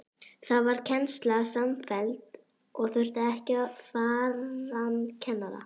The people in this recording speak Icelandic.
Þá varð kennsla samfelld og þurfti ekki farandkennara.